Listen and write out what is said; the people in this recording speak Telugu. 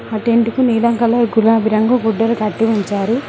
ఆ టెంటుకు నీలం కలర్ గులాబి రంగు గుడ్డలు కట్టి ఉంచారు